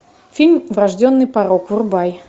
фильм врожденный порок врубай